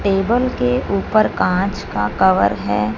Table के ऊपर कांच का कवर है।